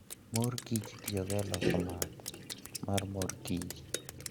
Mor kich itiyogo e loso math mar mor kich .